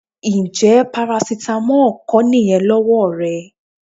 Ǹjẹ́ parasítámọ̀ kọ́ nìyẹn lọ́wọ́ rẹ?